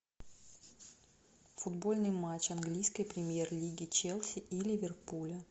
футбольный матч английской премьер лиги челси и ливерпуля